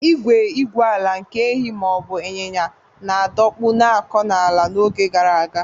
Igwe igwu ala nke ehi ma ọ bụ ịnyịnya na-adọkpụ na-akọ ala n’oge gara aga.